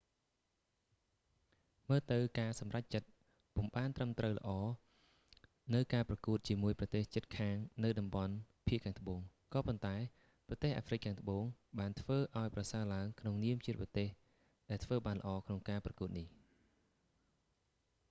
មើលទៅការសម្រេចចិត្តពុំបានត្រឹមត្រូវល្អនៅការប្រកួតជាមួយប្រទេសជិតខាងនៅតំបន់ភាគត្បូង ក៏ប៉ុន្តែ ប្រទេសអាហ្វ្រិកខាងត្បូង បានធ្វើឲ្យប្រសើរឡើងក្នុនាមជាប្រទេសដែលធ្វើបានល្អក្នុងការប្រកួតនេះ